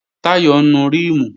Táyọ̀ ń nu ríìmù